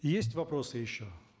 есть вопросы еще